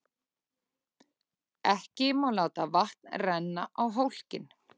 Ekki má láta vatn renna á hólkinn.